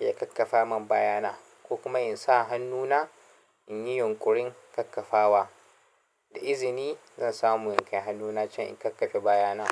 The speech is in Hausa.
ya ƙaƙƙafa mun bayana ko kuma in sa hannuna in yi yunƙurin kakkafawa. Da izini zan samu inkai hannuna can in kakkafe bayana.